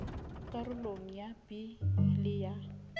karolong ya b le ya